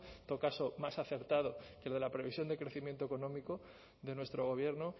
en todo caso más acertado que lo de la previsión de crecimiento económico de nuestro gobierno